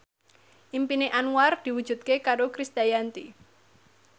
impine Anwar diwujudke karo Krisdayanti